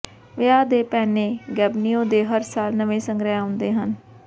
ਵਿਆਹ ਦੇ ਪਹਿਨੇ ਗੈਬੀਨੋਓ ਦੇ ਹਰ ਸਾਲ ਨਵੇਂ ਸੰਗ੍ਰਹਿ ਆਉਂਦੇ ਹਨ